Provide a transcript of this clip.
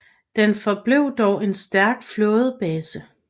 Den forblev dog en stærk flådebase